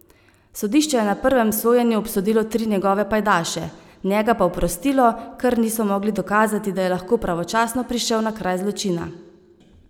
Sodišče je na prvem sojenju obsodilo tri njegove pajdaše, njega pa oprostilo, ker niso mogli dokazati, da je lahko pravočasno prišel na kraj zločina.